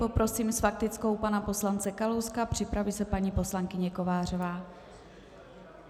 Poprosím s faktickou pana poslance Kalouska, připraví se paní poslankyně Kovářová.